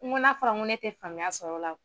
N ko n'a fɔra ko ne te faamuya sɔrɔ o la o